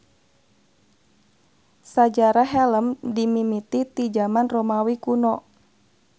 Sajarah helem dimimiti ti jaman Romawi kuno.